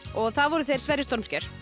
og það voru þeir Sverrir stormsker